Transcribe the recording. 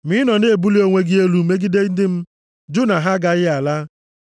Ma ị nọ na-ebuli onwe gị elu megide ndị m, jụ na ha agaghị ala.